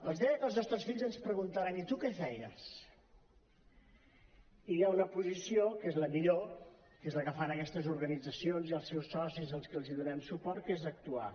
els deia que els nostres fills ens preguntaran i tu què feies hi ha una posició que és la millor que és la que fan aquestes organitzacions i els seus socis als quals donem suport que és actuar